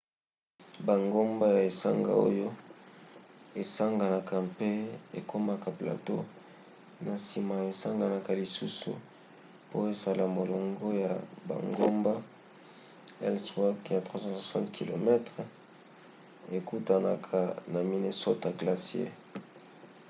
bangomba ya esanga oyo esanganaka mpe ekomaka plateau na nsima esanganaka lisusu po esala molongo ya bangomba ellsworth ya 360 km ekutanaka na minnesota glacier